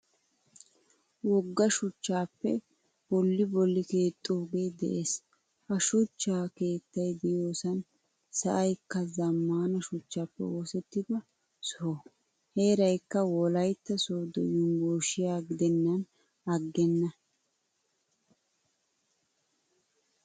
Wogga shuchchappe bolli bolli keexidoge de'ees. Ha shuchcha keettay de'iyosan sa'aykka zammaana shuchchappe oosettida soho. Heeraykka wolaytta sodo yunvurshshiyaa gidenan aggena.